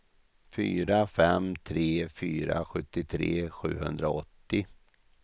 fyra fem tre fyra sjuttiotre sjuhundraåttio